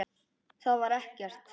Það var ekkert.